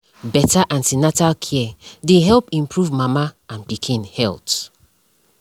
better an ten atal care dey help improve mama and pikin health